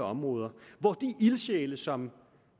områder hvor de ildsjæle som